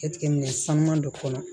Jateminɛ sanuman dɔ kɔnɔ